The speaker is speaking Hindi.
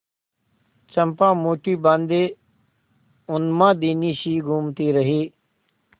चंपा मुठ्ठी बाँधे उन्मादिनीसी घूमती रही